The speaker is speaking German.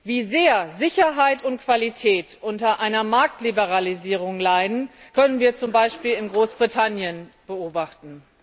Wie sehr Sicherheit und Qualität unter einer Marktliberalisierung leiden, können wir zum Beispiel in Großbritannien beobachten.